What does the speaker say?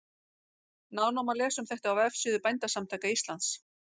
Nánar má lesa um þetta á vefsíðu Bændasamtaka Íslands.